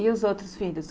E os outros filhos?